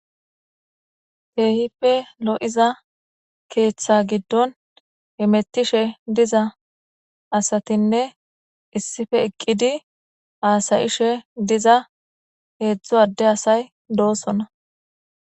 Keehippe lo7iza keeththa giddon hemetishe diza asatinne issippe eqqizi haasayishe diza heezzu ade asay doosona